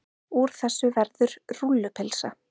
Úr þessu verður rúllupylsa.